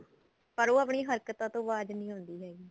ਪਰ ਉਹ ਆਪਣੀ ਹਰਕਤਾਂ ਤੋਂ ਬਾਜ ਨਹੀਂ ਆਉਂਦੀ ਹੈਗੀ